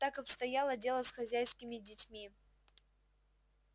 так обстояло дело с хозяйскими детьми